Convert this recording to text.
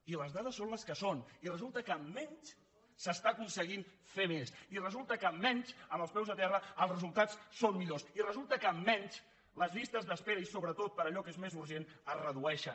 i les dades són les que són i resulta que amb menys s’està aconseguint fer més i resulta que amb menys amb els peus a terra els resultats són millors i resulta que amb menys les llistes d’espera i sobretot per a allò que és més urgent es redueixen